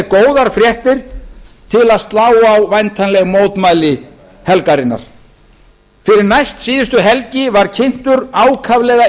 góðar fréttir til að slá á væntanleg mótmæli helgarinnar fyrir næstsíðustu helgi var kynntur ákaflega